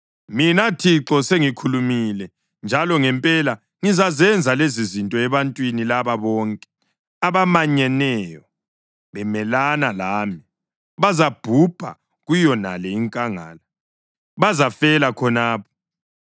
Mina Thixo, sengikhulumile, njalo ngempela ngizazenza lezizinto ebantwini laba bonke, abamanyeneyo bemelana lami. Bazabhubha kuyonale inkangala; bazafela khonapha.”